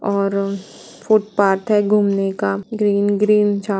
और फुटपाथ है घूमने का ग्रीन -ग्रीन जा--